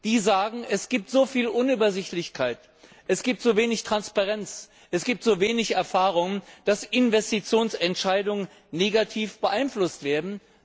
Diese sagen, es gibt so viel Unübersichtlichkeit, so wenig Transparenz, so wenige Erfahrungen, dass Investitionsentscheidungen negativ beeinflusst werden.